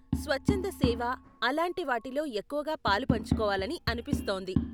స్వచ్ఛంద సేవ, అలాంటి వాటిలో ఎక్కువగా పాలు పంచుకోవాలని అనిపిస్తోంది.